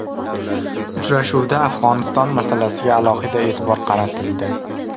Uchrashuvda Afg‘oniston masalasiga alohida e’tibor qaratildi.